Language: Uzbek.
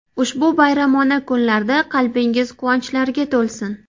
Ushbu bayramona kunlarda qalbingiz quvonchlarga to‘lsin!